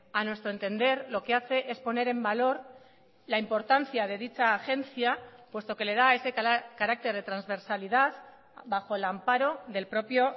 a nuestro entender lo que hace es poner en valor la importancia de dicha agencia puesto que le da ese carácter de transversalidad bajo el amparo del propio